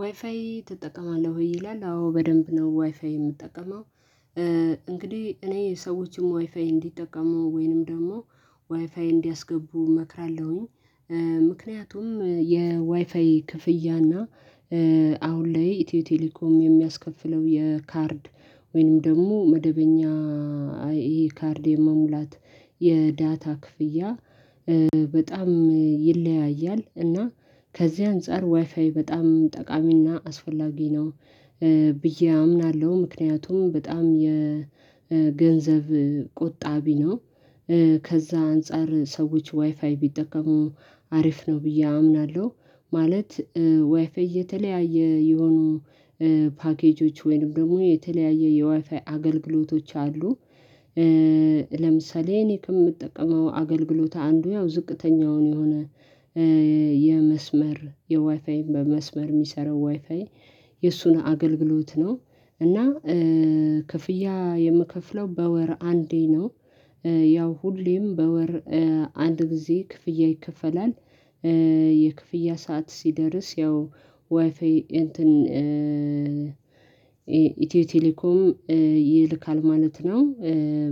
ዋይፋይ ትጠቀማለህ ይላል? አዎ በደንብ ነው ዋይፋይ የምጠቀመው። እንግዲህ እኔ ሰዎችም ዋይፋይ እንዲጠቀሙ ወይንም ደግሞ ዋይፋይ እንዲያስገቡ እመክራለሁኝ። ምክንያቱም የዋይፋይ ክፍያ እና አሁን ላይ ኢትዮ ቴሌኮም የሚያስከፍለው የካርድ ወይንም ደግሞ መደበኛ አይኤ ካርድ የመሙላት የዳታ ክፍያ በጣም ይለያያል እና ከዚህ አንፃር ዋይፋይ በጣም ጠቃሚና አስፈላጊ ነው። ብዬ አምናለሁ ምክንያቱም በጣም የገንዘብ ቁጣቢ ነው። ከዛ አንፃር ሰዎች ዋይፋይ ቢጠቀሙ አሪፍ ነው ብዬ አምናለሁ። ማለት ዋይፋይ የተለያየ የሆኑ ፓኬጆች ወይንም ደግሞ የተለያየ የዋይፋይ አገልግሎቶች አሉ። ለምሳሌ እኔ ከምጠቀመው አገልግሎት አንዱ ያው ዝቅተኛውን የሆነ የመስመር የዋይፋይን በመስመር የሚሰራው ዋይፋይ የእሱን አገልግሎት ነው። እና ክፍያ የምከፍለው በወር አንዴ ነው። ያው ሁሌም በወር አንድ ጊዜ ክፍያ ይከፈላል። የክፍያ ሰዓት ሲደርስ ያው ዋይፋይ እንትን ኢትዮ ቴሌኮም ይልካል ማለት ነው።